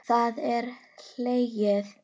Það er hlegið.